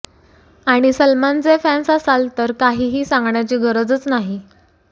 आणि सलमानचे फॅन्स असाल तर काहीही सांगण्याची गरजच नाही